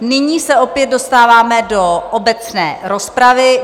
Nyní se opět dostáváme do obecné rozpravy.